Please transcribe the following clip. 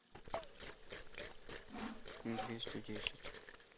двести десять